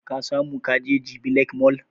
Ka samu kaje jabi lake mall?